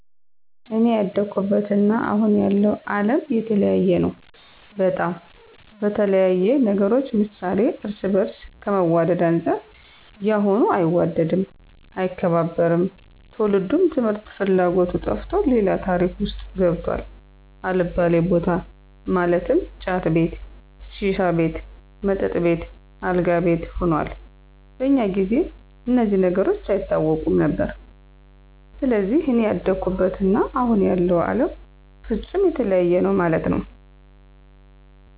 አኔ ያደኩበት እና አሁን ያለው አለም የተለያየ ነው በጣም፣ በተለያየ ነገሮች ምሳሌ እርስ በርስ ከመዋድ አንፃር ያሁኑ አይዋደድም፣ አይከባበርም፣ ትውልዱም ትምህርት ፍላጎቱ ጠፍቶ ሌላ ታሪክ ውስጥ ገብቷል አልባሌ በታ ማለትም ጫት ቤት፣ ሺሻ ቤት፣ መጠጥ ቤት፣ አልጋ ቤት ሁኗል። በኛ ጊዜ እነዚህ ነገሮች አይታወቁም ነበር። ሰለዚህ እኔ ያደኩበት እና አሁን ያለው አለም ፍፁም የተለያየ ነው መለት ነዉ።